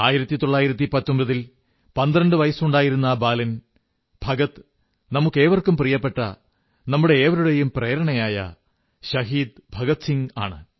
1919 ൽ 12 വയസ്സുണ്ടായിരുന്ന ആ കുട്ടി ഭഗത് നമുക്കേവർക്കും പ്രിയപ്പെട്ട നമ്മുടെയേവരുടെയും പ്രേരണയായ ശഹീദ് ഭഗത് സിംഗ് ആണ്